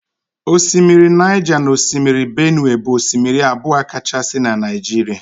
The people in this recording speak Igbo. Osimiri Niger na osimiri benue bụ osimiri abụọ kachasị na Naịjirịa